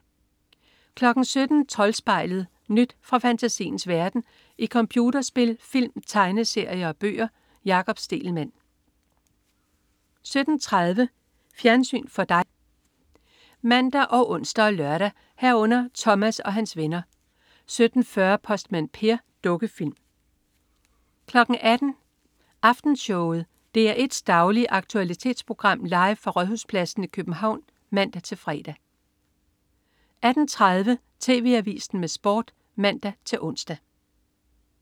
17.00 Troldspejlet. Nyt fra fantasiens verden i computerspil, film, tegneserier og bøger. Jakob Stegelmann 17.30 Fjernsyn for dig (man og ons og lør) 17.30 Thomas og hans venner 17.40 Postmand Per. Dukkefilm 18.00 Aftenshowet. DR1's daglige aktualitetsprogram, live fra Rådhuspladsen i København (man-fre) 18.30 TV Avisen med Sport (man-ons)